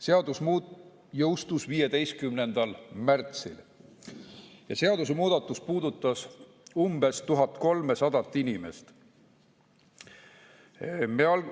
Seadus jõustus 15. märtsil ja seadusemuudatus puudutas umbes 1300 inimest.